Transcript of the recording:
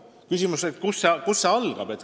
Küsimus on, kust see kõik algab.